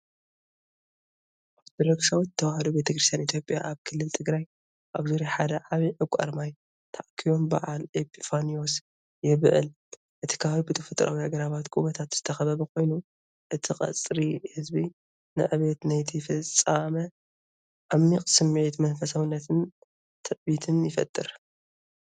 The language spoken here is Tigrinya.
ኦርቶዶክሳዊት ተዋህዶ ቤተክርስትያን ኢትዮጵያ ኣብ ክልል ትግራይ ኣብ ዙርያ ሓደ ዓብዪ ዕቋር ማይ ተኣኪቦም በዓል ኤጲፋንዮስ የብዕል። እቲ ከባቢ ብተፈጥሮኣዊ ኣግራብን ጎቦታትን ዝተኸበበ ኮይኑ፡ እቲ ቁጽሪ ህዝቢ ንዕብየት ናይቲ ፍጻመ ፣ዓሚቕ ስምዒት መንፈሳውነትን ትዕቢትን ይፈጥር።